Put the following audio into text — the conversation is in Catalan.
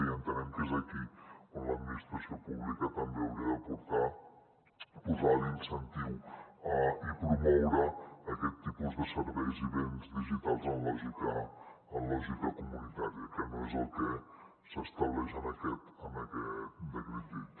i entenem que és aquí on l’administració pública també hauria d’aportar posar l’incentiu i promoure aquests tipus de serveis i béns digitals en lògica comunitària que no és el que s’estableix en aquest decret llei